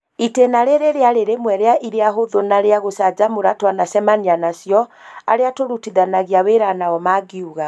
itĩna rĩrĩ rĩarĩ rĩmwe rĩa iria hũthũ na rĩa guchanjamura twanacemania nacio, arĩa tũrutithanagia wĩra nao mangiuga.